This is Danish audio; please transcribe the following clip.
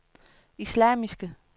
islamiske